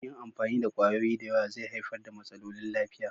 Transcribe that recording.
Yin amfani da kwayoyi da yawa zai haifar da matsalolin lafiya.